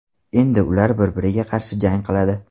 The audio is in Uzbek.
Endi ular bir-biriga qarshi jang qiladi.